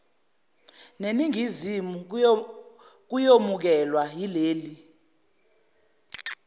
neningizimu kuyomukelwa yileli